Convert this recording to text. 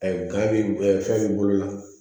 Ayi ga be ɛ ɛ fɛn b'i bolo la